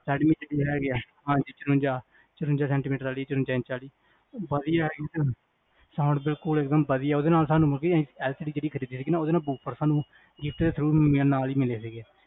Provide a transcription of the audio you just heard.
Redmi ਵਿਚ ਵੀ ਹੈਗੇ ਆ ਹਾਂਜੀ ਚੁਰੰਜਾ, ਚੁਰੰਜਾ centimeter ਆਲੀ, ਚੁਰੰਜਾ ਇੰਚ ਆਲੀ? ਬਦੀਆ sound ਦੇ ਕੋਲ ਏਕ੍ਦੁਮ ਬਦੀਆ ਓਦੇ ਨਾਲ ਸਾਨੂ, ਓਦੇ ਨਾਲ ਸਾਨੂ